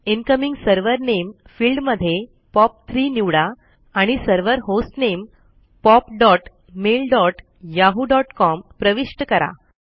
incoming server नामे field मध्ये पॉप3 निवडा आणि सर्वर होस्टनेम popmailyahooकॉम प्रविष्ट करा